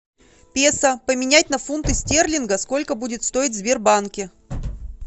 песо поменять на фунты стерлингов сколько будет стоить в сбербанке